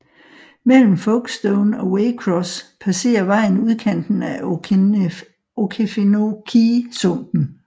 Mellem Folkstone og Waycross passerer vejen udkanten af Okefenokee sumpen